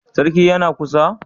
Sarki yana kusa?